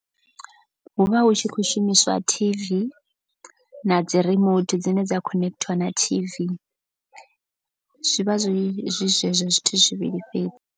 Hu vha hu tshi khou shumiswa T_V na dzi remote dzine dza connecter na T_V. Zwivha zwi zwi zwezwo zwithu zwivhili fhedzi.